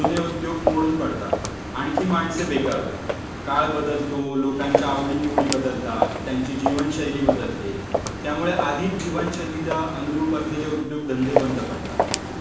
जुने उद्योग मोडून पडतात. आणखी माणसे बेकार होतात. काल बदलतो, लोकांच्या आवडीनिवडी बदलतात. त्यांची जीवनशैली बदलते. त्यामुळे आधीच जीवनशैलीला अनुरूप असलेले उद्योगधंदे बंद पडतात